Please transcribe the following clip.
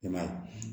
I m'a ye